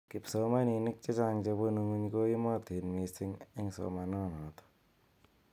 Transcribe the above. Kipsomaninik chechang chebunu ng'uny koimatin mising eng somananotok.